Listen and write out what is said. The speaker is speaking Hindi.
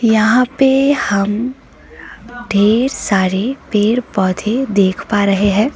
यहां पे हम ढेर सारे पेड़ पौधे देख पा रहे हैं।